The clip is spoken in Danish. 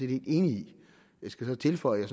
vi enige i jeg skal så tilføje at